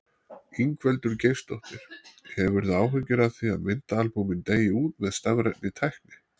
Ingveldur Geirsdóttir: Hefurðu áhyggjur af því að myndaalbúmin deyi út með stafrænni tækni?